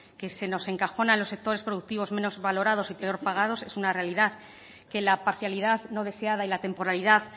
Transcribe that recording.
que se nos encajona en los sectores productivos menos valorados y peor pagados es una realidad que la parcialidad no deseada y la temporalidad